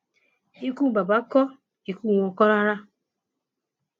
ikú bàbà kó ikú wọn kò rárá